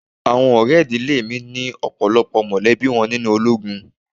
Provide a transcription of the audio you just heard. Àwọn ọ̀rẹ́ ìdílé mi ni ọ̀pọ̀lọpọ̀ mọ̀lẹ́bí wọn nínú ológun.